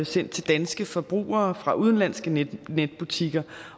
sendt til danske forbrugere fra udenlandske netbutikker